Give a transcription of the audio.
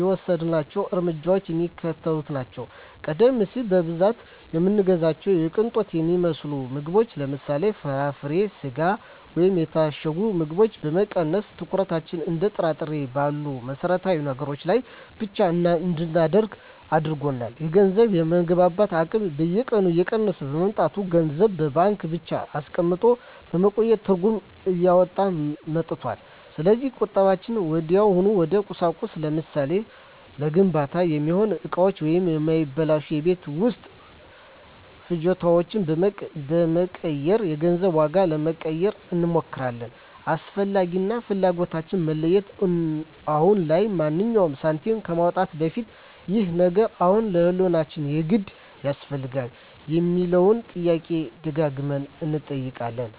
የወሰድናቸው እርምጃዎች የሚከተሉት ናቸው፦ ቀደም ሲል በብዛት የምንገዛቸውን የቅንጦት የሚመስሉ ምግቦችን (ለምሳሌ፦ ፍራፍሬ፣ ስጋ ወይም የታሸጉ ምግቦች) በመቀነስ፣ ትኩረታችንን እንደ ጥራጥሬና እህል ባሉ መሠረታዊ ነገሮች ላይ ብቻ እንድናደርግ አድርጎናል። የገንዘብ የመግዛት አቅም በየቀኑ እየቀነሰ በመምጣቱ፣ ገንዘብን በባንክ ብቻ አስቀምጦ ማቆየት ትርጉም እያጣ መጥቷል። ስለዚህ ቁጠባችንን ወዲያውኑ ወደ ቁሳቁስ (ለምሳሌ፦ ለግንባታ የሚሆኑ እቃዎች ወይም የማይበላሹ የቤት ውስጥ ፍጆታዎች) በመቀየር የገንዘቡን ዋጋ ለማቆየት እንሞክራለን። "አስፈላጊ" እና "ፍላጎት"ን መለየት፦ አሁን ላይ ማንኛውንም ሳንቲም ከማውጣታችን በፊት "ይህ ነገር አሁን ለህልውናችን የግድ ያስፈልጋል?" የሚለውን ጥያቄ ደጋግመን እንጠይቃለን።